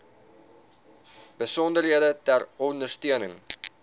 besonderhede ter ondersteuning